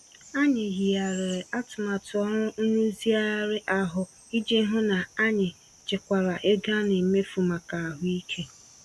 Anyị yigharịrị atụmatụ ọrụ nrụzigharị ahụ, iji hụ hụ n'anyị chekwara ego ana emefu màkà ahụike.